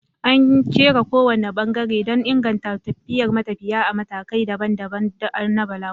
An kera kowane bangare don inganta tafiyar matafiya ta matakai daban-daban na balaguronsu.